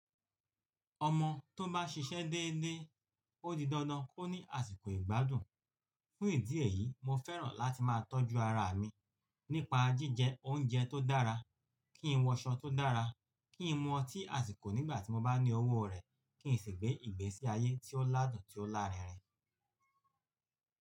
Ọmọ tó bá ṣiṣẹ́ déédé, ó di dandan kó ní àsìkò ìgbádùn. Fún ìdí èyí, mo fẹ́ràn láti má a tọ́jú ara mi nípa jíjẹ oúnjẹ tó dára, kí n wọṣọ tó dára, kí n mu ọtí àsìkò nígbà tí mo bá ní owó rẹ̀, kí n sì gbé ìgbésí ayé tí ó ládùn tí ó lárinrin.